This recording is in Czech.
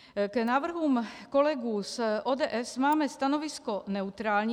K návrhům kolegů z ODS máme stanovisko neutrální.